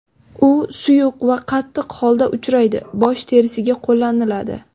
U suyuq va qattiq holda uchraydi, bosh terisiga qo‘llaniladi.